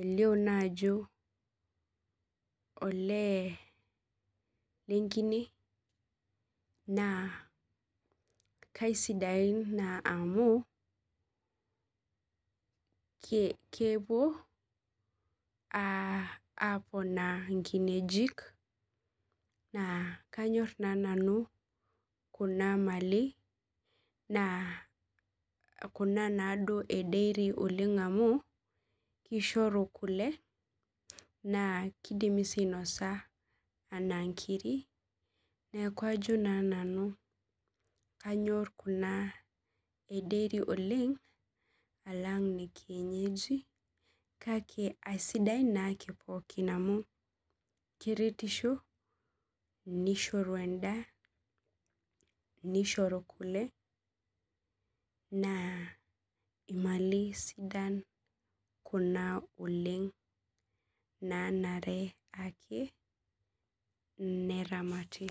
elio naa ajo oleee lenkine naa kaisidain naa amu kepuo aaponaa inkineji naa kanyor nanu kuna mali kuna naaduo a deiri amu keishoru kule naa keidimi sii ainosa enaa inkirik neeku kajo nanu kake eisidai naa amu keretisho neishoru endaa neishoru kule naa imali sidan kuna oleng naanare ake neramati